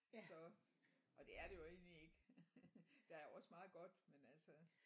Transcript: Så og det er det jo egentlig ikke der er jo også meget godt men altså